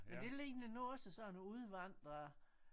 Men det ligner nu også sådan nogle udvandrer